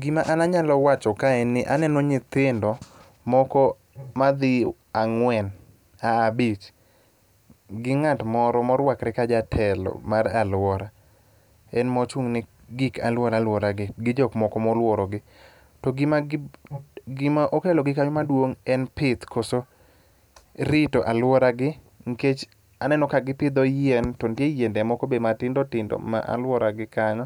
Gima an anyalo wacho ka en ni aneno nyithindo moko madhi ang'wen, abich. Gi ng'at moro morwakre ka jatelo mar alwora. En mochung'ne gik aluora aluora gi, gi jok moko molworo gi. To gima okelo kanyo maduong' en pith koso rito alworagi nikech aneno ka gipidho yien to nitie yiende moko be matindo tindo ma alworagi kanyo,